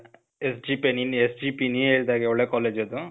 SJP , SJP , ನೀ ಹೇಳ್ದಾಗೆ ಒಳ್ಳೆ ಕಾಲೇಜ್ ಅದು.